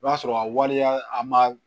I b'a sɔrɔ a waleya a ma